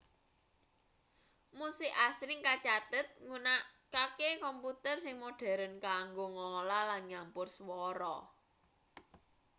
musik asring kacathet nggunakake komputer sing modheren kanggo ngolah lan nyampur swara